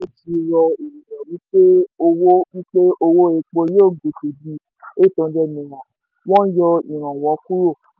ti rọ ènìyàn wí pé owó wípé owó epo yóò gòkè di eight hundred naira wón yọ ìrànwọ́ kúrò.